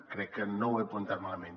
crec que no ho he apuntat malament